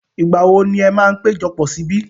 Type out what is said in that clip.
Ìgbà wo ni ẹ máa péjọpọ̀ sí ibí?